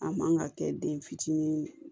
A man ka kɛ den fitinin